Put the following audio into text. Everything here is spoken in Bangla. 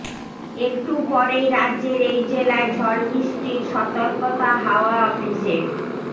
একটু পরেই রাজ্যের এই জেলায় ঝড়বৃষ্টির সতর্কতা হাওয়া অফিসের